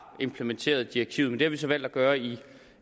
implementeret direktivet det vi så valgt at gøre i